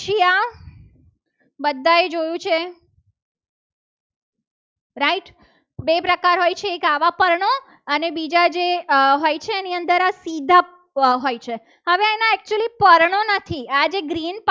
બધાએ જોયું છે. right બે પ્રકાર હોય છે. એક આવા પર્ણો અને બીજા જે હોય છે. એની અંદર સીધા હોય છે. હવે એના actually પર્ણો નથી.